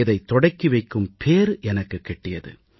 இதைத் தொடக்கி வைக்கும் பேறு எனக்குக் கிட்டியது